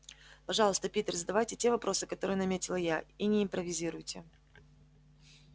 пожалуйста питер задавайте те вопросы которые наметила я и не импровизируйте